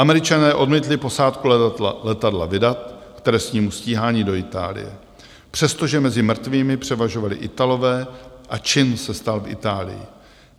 Američané odmítli posádku letadla vydat k trestnímu stíhání do Itálie, přestože mezi mrtvými převažovali Italové a čin se stal v Itálii.